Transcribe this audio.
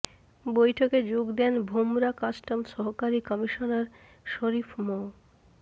বৈঠকে যোগ দেন ভোমরা কাস্টমস সহকারী কমিশনার শরিফ মো